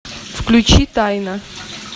включи тайна